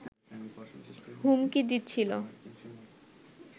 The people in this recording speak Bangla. হুমকি দিচ্ছিল